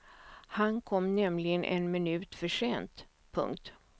Han kom nämligen en minut för sent. punkt